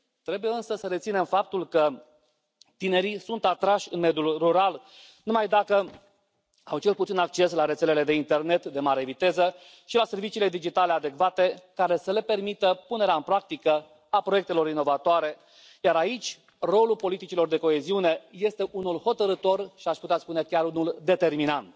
Trebuie însă să reținem faptul că tinerii sunt atrași de mediul rural numai dacă au cel puțin acces la rețelele de internet de mare viteză și la serviciile digitale adecvate care să le permită punerea în practică a proiectelor inovatoare, iar aici rolul politicilor de coeziune este unul hotărâtor și, aș putea spune, chiar unul determinant.